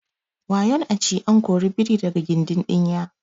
wayon a ci an kori biri daga gindin dinya